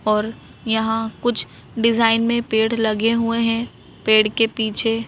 और यहां कुछ डिजाइन में पेड़ लगे हुए हैं पेड़ के पीछे--